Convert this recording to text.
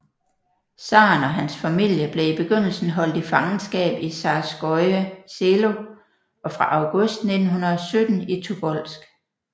Zaren og hans familie blev i begyndelsen holdt i fangenskab i Zarskoje Selo og fra august 1917 i Tobolsk